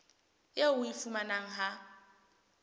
eo o e fumanang ha